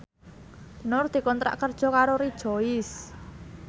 Nur dikontrak kerja karo Rejoice